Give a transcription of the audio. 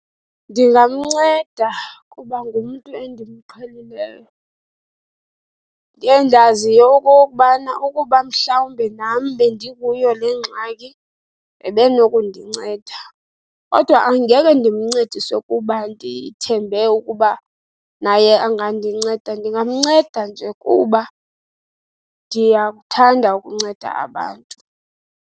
Ndingamnceda kuba ngumntu endimqhelileyo endiyaziyo okokubana ukuba mhlawumbe nam bendikuyo le ngxaki, ebenokundinceda. Kodwa angeke ndimncediswe kuba ndithembe ukuba naye angandinceda, ndingamnceda nje kuba ndiyakuthanda ukunceda abantu.